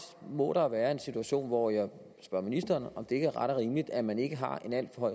må der være en situation hvor jeg spørger ministeren om det ikke er ret og rimeligt at man ikke har en alt for